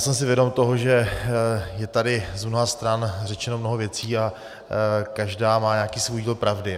Jsem si vědom toho, že je tady z mnoha stran řečeno mnoho věcí a každá má nějaký svůj díl pravdy.